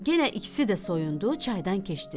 Yenə ikisi də soyundu, çaydan keçdilər.